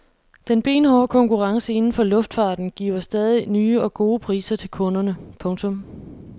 Den benhårde konkurrence inden for luftfarten giver stadig nye og gode priser til kunderne. punktum